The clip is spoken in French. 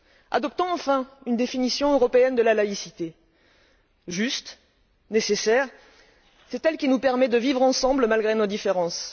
Adoptons enfin une définition européenne de la laïcité, juste et nécessaire, c'est elle qui nous permet de vivre ensemble malgré nos différences.